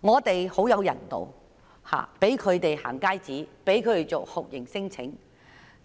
本港非常人道，向他們發出"行街紙"，為他們辦理酷刑聲請，